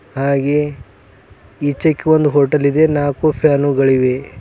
ಹಾಗೆ ಈಚೆಕ ಒಂದ್ ಹೋಟೆಲ್ ಇದೆ ನಾಲ್ಕು ಫ್ಯಾನುಗಳಿವೆ.